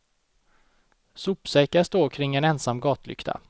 Sopsäckar står kring en ensam gatlykta.